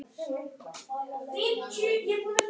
Hún leit brosandi út í garðinn.